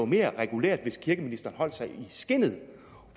mere regulært hvis kirkeministeren holdt sig i skindet